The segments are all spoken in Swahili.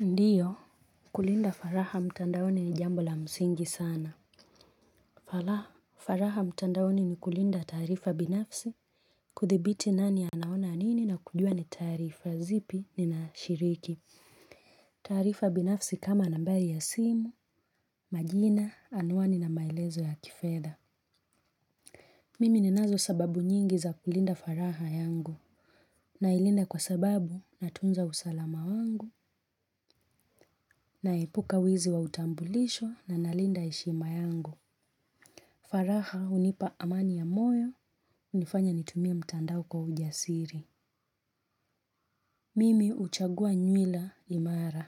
Ndiyo, kulinda faraha mtandaoni ni jambo la msingi sana. Faraha, faraha mtandaoni ni kulinda tarifa binafsi, kuthibiti nani anaona nini na kujua ni taarifa zipi ninashiriki. Tarifa binafsi kama nambari ya simu, majina, anwani na maelezo ya kifedha. Mimi ninazo sababu nyingi za kulinda faraha yangu. Nailinda kwa sababu natunza usalama wangu, naepuka wizi wa utambulisho na nalinda heshima yangu. Faraha hunipa amani ya moyo hunifanya nitumie mtandao kwa ujasiri. Mimi huchagua nywila imara.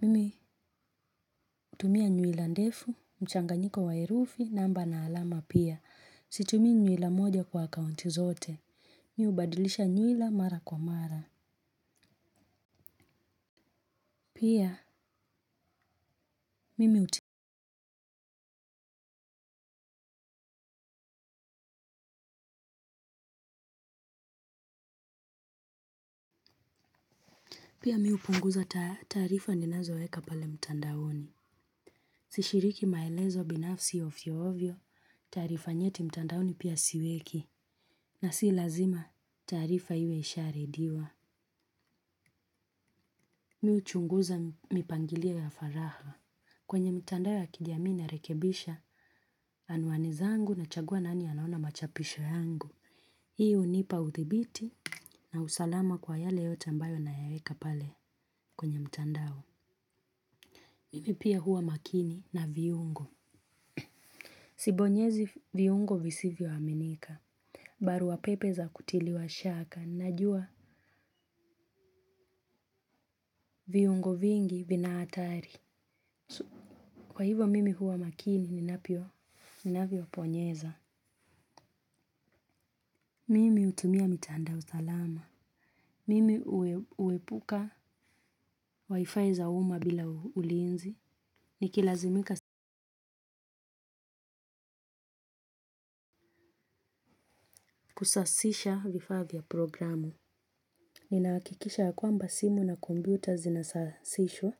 Mimi hutumia nywila ndefu, mchanganyiko wa herufi, namba na alama pia. Situmii nywila moja kwa akaunti zote. Mi hubadilisha nywila mara kwa mara. Pia mimi hut. Pia mi hupunguza taarifa ninazoweka pale mtandaoni. Sishiriki maelezo binafsi of ovyoovyo, taarifa nyeti mtandaoni pia siweki. Na si lazima, taarifa iwe isharudiwa. Mi huchunguza mipangilio ya faraha. Kwenye mtandao ya kijaami narekebisha, anwani zangu nachagua nani anaona machapisho yangu. Hii hunipa uthibiti na usalama kwa yale yote ambayo nayaweka pale kwenye mtandao. Mimi pia huwa makini na viungo. Sibonyezi viungo visivyo aminika. Barua pepe za kutiliwa shaka. Najua viungo vingi vina hatari. Kwa hivyo mimi huwa makini ninavyo ninavyo bonyeza. Mimi hutumia mitandao usalama. Mimi uepuka wifi za uma bila ulinzi. Nikilazimika kusasisha vifaa vya programu. Ninahakikisha ya kwamba simu na komputa zinasashishwa,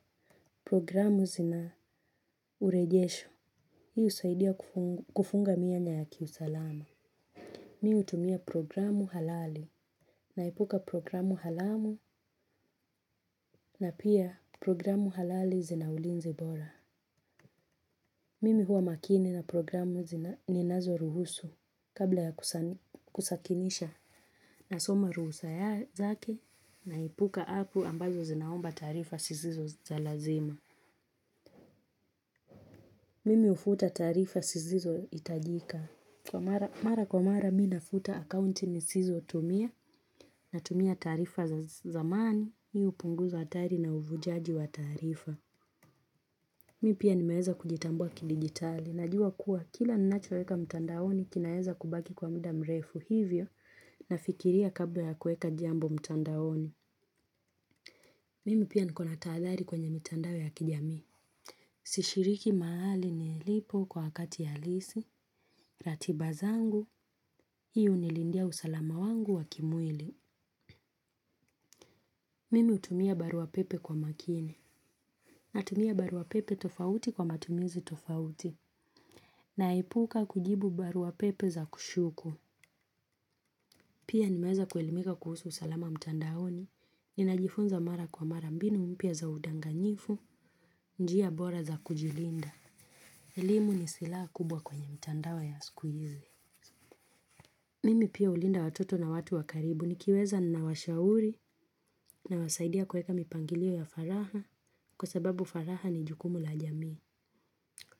programu zina urejesho, hiu usaidia kufunga mianya ya kiusalama. Mi hutumia programu halali, naipuka programu haramu na pia programu halali zina ulinzi bora. Mimi huwa makini na programu zina ninazo ruhusu kabla ya kusakinisha nasoma ruhusa zake naipuka apu ambazo zinaomba taarifa zisizo za lazima. Mimi hufuta taarifa zisizo hitajika. Mara kwa mara mi nafuta akaunti nisizotumia natumia taarifa za zamani mi hupunguza hatari na uvujaji wa taarifa. Mi pia nimeweza kujitambua kidigitali. Najua kuwa kila ninachoweka mtandaoni kinaweza kubaki kwa muda mrefu hivyo nafikiria kabla ya kuweka jambo mtandaoni. Mimi pia niko na tahadhari kwenye mitandao ya kijamii. Sishiriki mahali nilipo kwa hakati ya halisi, ratiba zangu, hii hunilindia usalama wangu wakimwili. Mimi hutumia barua pepe kwa makini, natumia barua pepe tofauti kwa matumizi tofauti, naepuka kujibu barua pepe za kushuku. Pia nimeweza kuelimika kuhusu usalama mtandaoni, niinajifunza mara kwa mara mbinu mpya za udanganyifu, njia bora za kujilinda. Elimu ni silaha kubwa kwenye mtandao ya sikuhizi. Mimi pia hulinda watoto na watu wa karibu nikiweza ninawashauri nawasaidia kueka mipangilio ya faraha kwa sababu faraha ni jukumu la jamii.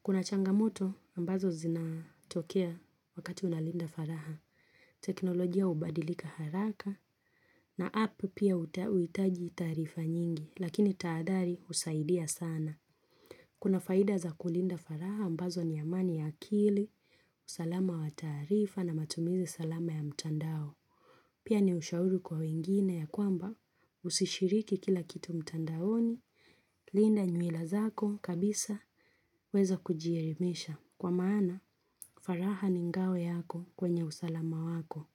Kuna changamoto ambazo zinatokea wakati unalinda faraha. Teknolojia hubadilika haraka na apu pia huitaji taarifa nyingi lakini tahadhari husaidia sana. Kuna faida za kulinda faraha ambazo ni amani ya akili, usalama wa taarifa na matumizi salama ya mtandao. Pia ni ushauri kwa wengine ya kwamba usishiriki kila kitu mtandaoni, linda nywila zako kabisa, weza kujielimisha. Kwa maana, faraha ni ngao yako kwenye usalama wako.